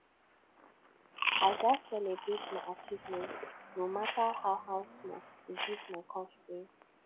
i gats celebrate my achievements no matter how how small to boost my confidence